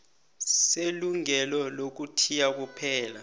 selungelo lokuthiya kuphela